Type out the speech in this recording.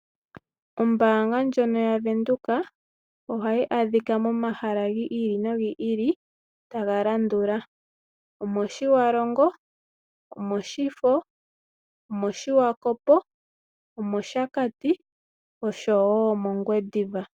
Ombaanga ndjono yaVenduka, ohayi adhika momahala gi ili nogi ili taga landula: omOtjiwarongo, omOshifo, omOshiwakopo, omOshakati nosho wo mOngwediva.